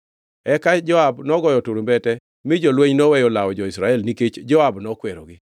Eka Joab nogoyo turumbete mi jolweny noweyo lawo jo-Israel nikech Joab nokwerogi.